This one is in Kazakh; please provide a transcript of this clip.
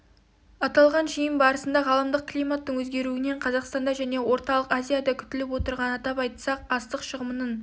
аталған жиын барысында ғаламдық климаттың өзгеруінен қазақстанда және орталық азияда күтіліп отырған атап айтсақ астық шығымының